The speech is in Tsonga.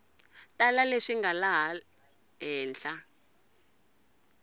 tala leswi nga laha henhla